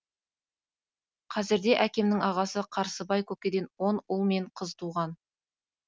қазірде әкемнің ағасы қарсыбай көкеден он ұл мен қыз туған